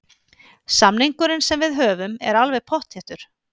Samningurinn sem við höfum er alveg pottþéttur.